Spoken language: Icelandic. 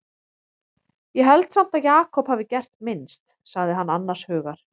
Ég held samt að Jakob hafi gert minnst, sagði hann annars hugar.